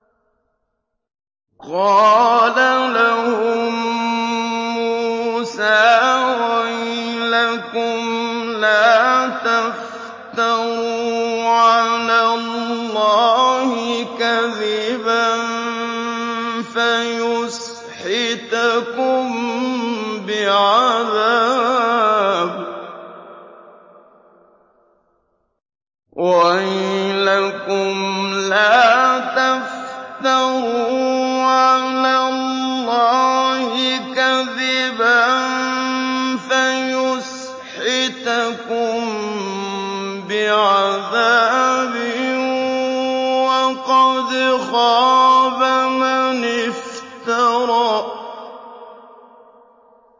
قَالَ لَهُم مُّوسَىٰ وَيْلَكُمْ لَا تَفْتَرُوا عَلَى اللَّهِ كَذِبًا فَيُسْحِتَكُم بِعَذَابٍ ۖ وَقَدْ خَابَ مَنِ افْتَرَىٰ